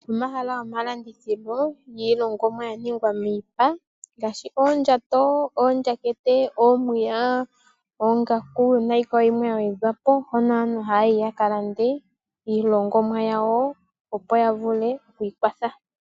Omahala gomalandithilo giilingonwa yaningwa miipa ngaashi oondjato, oondjakete, oomiya, oongaku nayi mwe woo yagwedhwapo oko nee aantu haya yi yakalande iilongomwa yawo opo yavule okwiikwatha.